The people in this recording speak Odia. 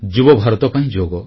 ଯୁବଭାରତ ପାଇଁ ଯୋଗ